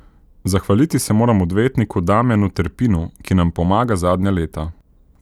Zahvaliti se moram odvetniku Damjanu Terpinu, ki nam pomaga zadnja leta.